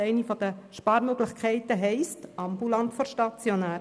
Eine der Sparmöglichkeiten heisst: ambulant vor stationär.